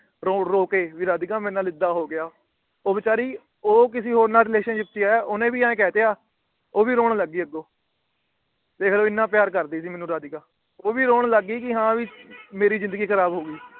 ਰੋ ਰੋ ਕੇ ਵੀ ਰਾਧਿਕਾ ਮੇਰੇ ਨਾਲ ਏਦਾਂ ਹੋ ਗਿਆ। ਉਹ ਵਿਚਾਰੀ ਉਹ ਕਿਸੇ ਹੋਰ ਨਾਲ Relationship ਚ ਆ ਓਹਨੇ ਵੀ ਐ ਕਹਿਤਾ। ਉਹ ਵੀ ਰੋਣ ਲੱਗ ਗਈ ਅੱਗੋਂ। ਦੇਖਲੋ ਏਨਾ ਪਿਆਰ ਕਰਦੀ ਸੀ ਮੈਨੂੰ ਰਾਧਿਕਾ। ਉਹ ਵੀ ਰੋਣ ਲੱਗ ਗਈ ਹਾਂ ਵੀ ਮੇਰੀ ਜਿੰਦਗੀ ਖਰਾਬ ਹੋ ਗਈ।